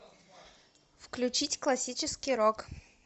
включить классический рок